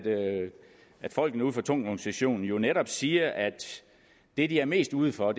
folkene ude fra tungvognsektionen jo netop siger at det de er mest ude for